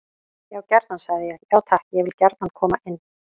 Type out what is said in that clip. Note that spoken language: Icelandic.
Já gjarnan, sagði ég: Já takk, ég vil gjarnan koma inn.